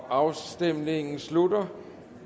afstemningen slutter